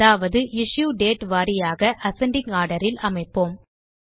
அதாவது issue date வாரியாக ascending order இல் அமைப்போம்